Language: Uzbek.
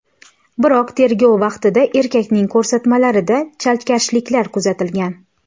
Biroq tergov vaqtida erkakning ko‘rsatmalarida chalkashliklar kuzatilgan.